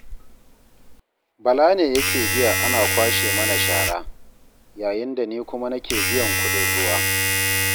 Bala ne yake biya ana kwashe mana shara, yayin da ni kuma nake biyan kuɗin ruwa